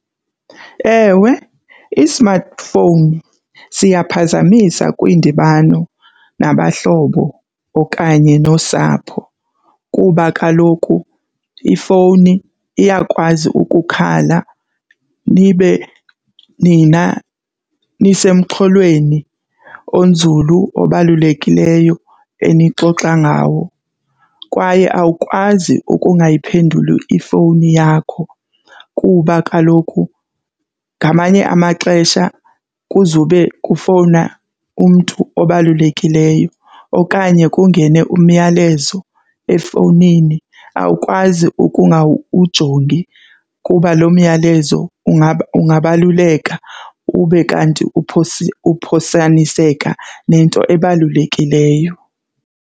Ewe, i-smartphone siyaphazamisa kwiindibano nabahlobo okanye nosapho kuba kaloku ifowuni iyakwazi ukukhala nibe nina nisemxholweni onzulu obalulekileyo enixoxa ngawo. Kwaye awukwazi ukungayiphenduli ifowuni yakho kuba kaloku ngamanye amaxesha kuzube kufowuna umntu obalulekileyo okanye kungene umyalezo efowunini, awukwazi ukungawujongi kuba loo myalezo ungabaluleka ube kanti uphosaniseka nento ebalulekileyo.